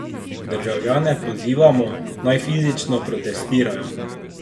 Državljane pozivamo, naj fizično protestirajo.